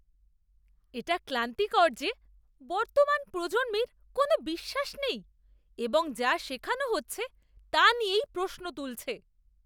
এটা ক্লান্তিকর যে বর্তমান প্রজন্মের কোনও বিশ্বাস নেই এবং যা শেখানো হচ্ছে তা নিয়েই প্রশ্ন তুলছে।